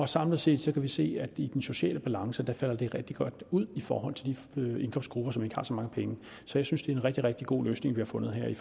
samlet set kan vi se at det i den sociale balance falder rigtig godt ud i forhold til de indkomstgrupper som ikke har så mange penge så jeg synes det er en rigtig rigtig god løsning vi har fundet her i